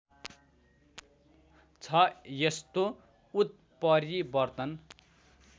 छ यस्तो उत्परिवर्तन